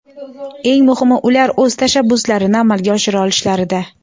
Eng muhimi ular o‘z tashabbuslarini amalga oshira olishlarida.